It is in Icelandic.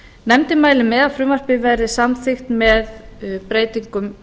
nefndin mælir með að frumvarpið verði samþykkt breytingum